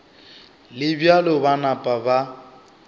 le bjalo ba napa ba